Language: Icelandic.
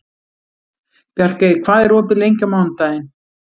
Bjarkey, hvað er opið lengi á mánudaginn?